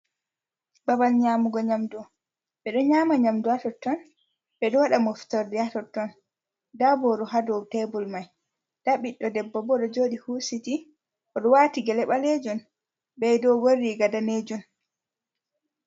Babal nyaamugo nyamdu, ɓe ɗo nyaama nyamdu ha totton, be ɗo waɗa moftorde ha totton, nda booru ha dow tebul mai, nda biɗɗo debbo bo oɗo jooɗi huusiti, oɗo waati gele ɓalejun be doogon riiga danejun.